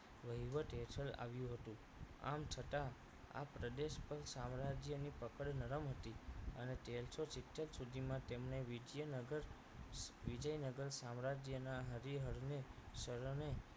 વહીવટ હેઠળ આવ્યુ હતું આમ છતાં આ પ્રદેશ પર સામ્રાજ્યની પકડ નરમ હતી અને તેરસો સિત્તેર સુધીમાં તેમને વિજ્યનગર વિજયનગર સામ્રાજ્યના હરીહરને સલામે